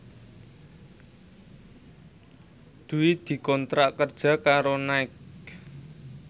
Dwi dikontrak kerja karo Nike